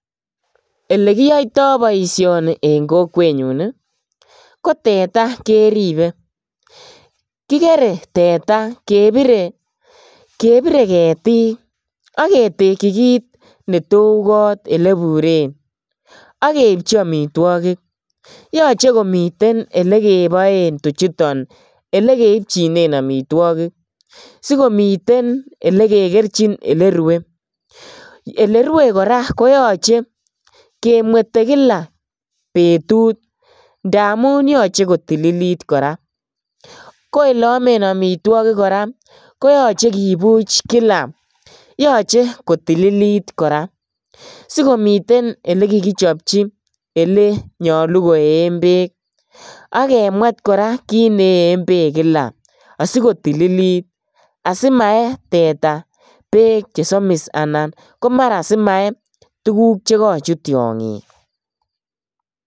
Elekiyoito boisioni eng kokwenyun ko teta keripe. Kigere teta kepire ketiik ak ketekyi kit ne to u kot eleburen ak keipchi amitwogik. Yoche komiten elekeboen tuchuton. Elekeipchinen amitwogik, sigomiten yekekerchin elerue. Elerue kora koyoche kemwete kila betut ndamun yoche kotilit kora. Koeleomen amitwogik kora koyoche kipuch kila. Yoche kotililit kora sikomiten elekikichopchi elenyalu koeen beek. Ak kemwet kora kit neen beek kila asikotililit asimae teta beek che somis anan komara simae tuguk che kochut tiongik.